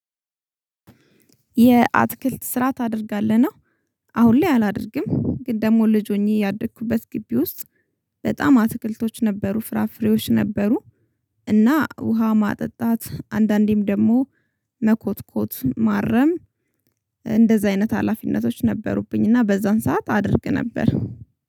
የአትክልት ስራ ታደርጋለህ ነው? አሁን ላይ አላደርግም ግን ደግሞ ልጅ ሆኜ ያደግኩበት ግቢ ውስጥ በጣም አትክልቶች ነበሩ ፍራፍሬዎች ነበሩ። እና ውሃ ማጠጣት አንዳንዴም ደግሞ መኮትኮት ማረም። እንደዛ አይነት ሀላፊነቶች ነበሩብኝና በዛን ሰዓት አደርግ ነበር